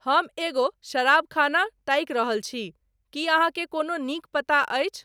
हम एगो शराबखाना ताकि रहल छी की अहाँ के कोनो नीक पता अछि